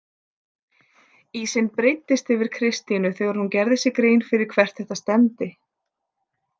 Ísinn breiddist yfir Kristínu þegar hún gerði sér grein fyrir hvert þetta stefndi.